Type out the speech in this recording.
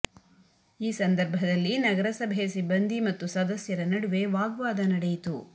ಈ ಸಂದರ್ಭದಲ್ಲಿ ನಗರಸಭೆ ಸಿಬ್ಬಂದಿ ಮತ್ತು ಸದಸ್ಯರ ನಡುವೆ ವಾಗ್ವಾದ ನಡೆಯಿತು